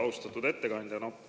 Austatud ettekandja!